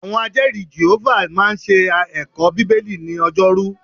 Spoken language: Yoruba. Àwọn Ajẹ́ẹ̀rí Jèhófà máa ń ṣe ẹ̀kọ́ Bíbélì ni ọjọ́rú